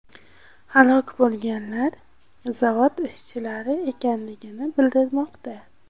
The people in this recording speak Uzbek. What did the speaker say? Halok bo‘lganlar zavod ishchilari ekanligi bildirilmoqda.